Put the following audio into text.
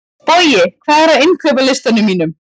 Bogi, hvað er á innkaupalistanum mínum?